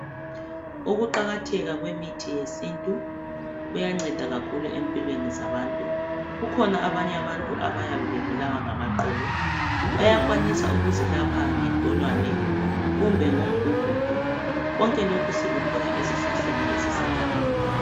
Ukuqakatheka kwemithi yesintu kuyanceda kakhulu empilweni zabantu kukhona abanye abantu abayabe bebulawa ngamaqolo bayakwanisa ukuzilapha ngentolwane kumbe ngomgugudu konke lokhu sikuthola ezihlahleni ezisegangeni.